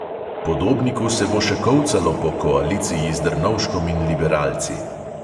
Podobniku se bo še kolcalo po koaliciji z drnovškom in liberalci.